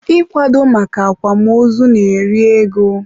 ịkwado maka akwamozu na-eri ego.